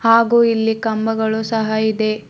ಹಾಗೂ ಇಲ್ಲಿ ಕಂಬಗಳು ಸಹ ಇದೆ.